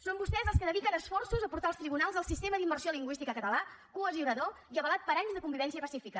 són vostès els que dediquen esforços a portar als tribunals el sistema d’immersió lingüística català cohesionador i avalat per anys de convivència pacífica